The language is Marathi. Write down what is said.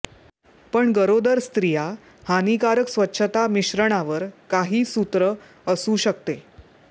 पण गरोदर स्त्रिया हानीकारक स्वच्छता मिश्रणावर काही सूत्र असू शकते